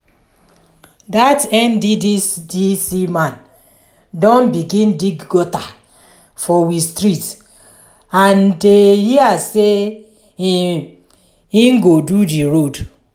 dat nddc man don begin dig gutter for we street and dey hear sey im im go do di road.